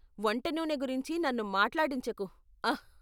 వంట నూనె గురించి నన్ను మాట్లాడించకు, ఆహ్ .